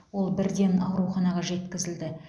ол бірден ауруханаға жеткізілді